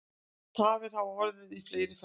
Tafir hafa orðið í fleiri ferðum